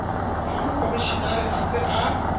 ha mokomshenara a se a